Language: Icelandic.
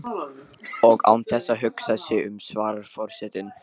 Og án þess að hugsa sig um svarar forsetinn